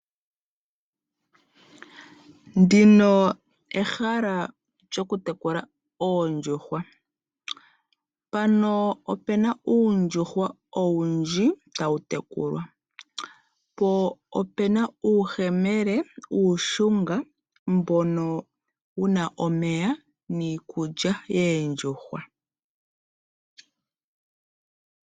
Ndino ehala lyoku tekula oondjuhwa. Mpano opena uundjuhwa owundji tawu tekulwa, po opena uuyemele uushunga mbono wuna omeya niikulya yoondjuhwa.